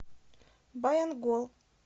баянгол